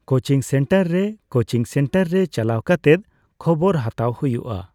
Coaching centre ᱨᱮ coaching centre ᱨᱮ ᱪᱟᱞᱟᱣ ᱠᱟᱛᱮᱜ ᱠᱷᱚᱵᱚᱨ ᱦᱟᱛᱟᱣ ᱦᱩᱭᱩᱜᱼᱟ ᱾